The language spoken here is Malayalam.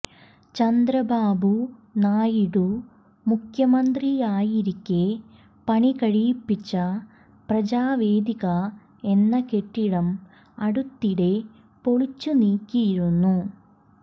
ചന്ദ്രബാബു നായിഡു മുഖ്യമന്ത്രിയായിരിക്കെ പണികഴിപ്പിച്ച പ്രജാവേദിക എന്ന കെട്ടിടം അടുത്തിടെ പൊളിച്ചുനീക്കിയിരുന്നു